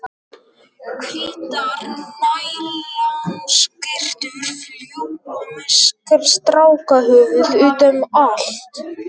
Hvítar nælonskyrtur fljúga með strákahöfuð útum allt.